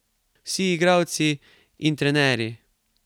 Vsi, igralci in trenerji.